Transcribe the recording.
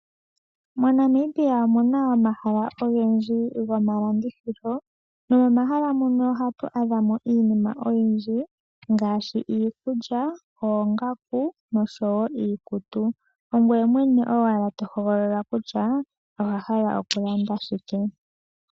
Mo Namibia omuna omahala ogendji goma landithilo nomohala muno ohatu adhama mo iinima oyindji ngaashi iikulya, Ongaku oshowo iikutu ngweye mwene tohogolola kutya owahala okulanda shike.